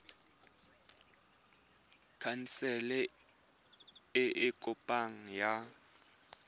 khansele e e kopaneng ya